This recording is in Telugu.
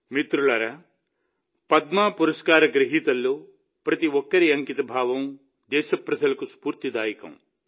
మిత్రులారా పద్మ పురస్కార గ్రహీతల్లో ప్రతి ఒక్కరి అంకితభావం దేశప్రజలకు స్ఫూర్తిదాయకం